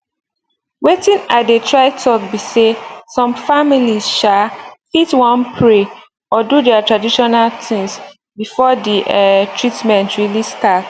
wetin i dey try talk be say some families um fit wan pray or do their traditional things before the um treatment really start